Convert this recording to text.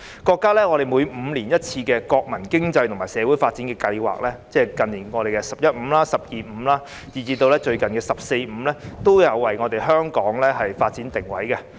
國家每5年一次的國民經濟和社會發展五年規劃，即是近年"十一五"、"十二五"，以至最近的"十四五"，均有為香港的發展定位。